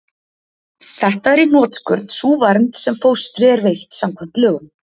Þetta er í hnotskurn sú vernd sem fóstri er veitt samkvæmt lögum.